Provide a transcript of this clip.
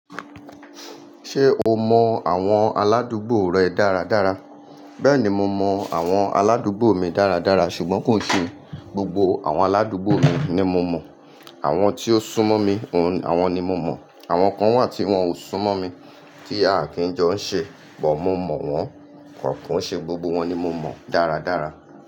Ṣé o mọ àwọn aládùúgbò rẹ dáradára? Bẹ́ẹ̀ni, mo mọ àwọn aládùúgbò mi dáradára ṣùgbọ́n kò sì n gbogbo àwọn aládùúgbò mi ni mo mọ̀, àwọn tí o sún mọ́ mi àwọn ni mo mọ̀, àwọn kan wà tí wọ́n ò sún mọ́ mi tí a kì í jọ ń ṣe bọ̀ mo mọ̀ wọ́n, kò kò ṣe gbogbo wọn ni mo mọ̀ dáradára.